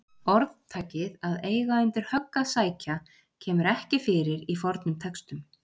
Orðtakið að eiga undir högg að sækja kemur ekki fyrir í fornum textum.